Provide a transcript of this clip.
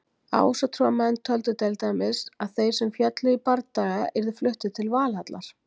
Ásatrúarmenn töldu til dæmis að þeir sem féllu í bardaga yrðu fluttir til Valhallar.